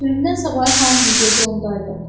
Pülümündən savayı hamının gözü ondaydı.